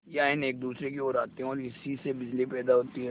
यह आयन एक दूसरे की ओर आते हैं ओर इसी से बिजली पैदा होती है